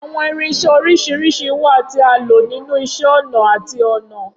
Awọn irinṣẹ oriṣiriṣi wa ti a lo ninu Iṣẹ-ọnà ati Ọnà.